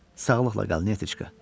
Sağlıqla qal, Niyeçka.